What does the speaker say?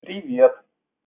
привет